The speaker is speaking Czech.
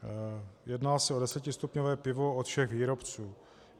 Jedná se o desetistupňové pivo od všech výrobců.